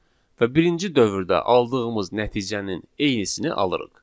Və birinci dövrdə aldığımız nəticənin eynisini alırıq.